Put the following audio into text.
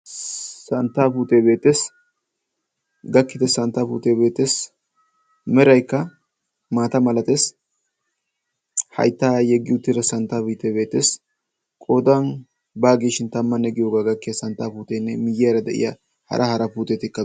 santtaa futebeetes gakkida santta futeebeetes meraikka maata malates haittaa yeggiuutira santtabiteebeetes qodan baagiishin tammanne giyoogaa gakkiya santtaafuuteenne miyyiyaara de7iya hara haara puuteetikaa